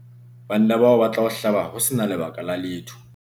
banna bao ba tla o hlaba ho se na lebaka la letho